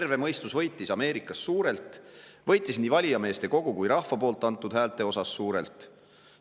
Terve mõistus võitis Ameerikas suurelt, võitis nii valijameeste kogu kui ka rahva antud häältega suurelt.